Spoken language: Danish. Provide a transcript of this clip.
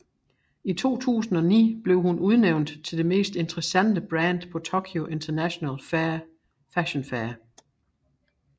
I 2009 blev hun udnævnt til det mest interessante brand på Tokyo International Fashion Fair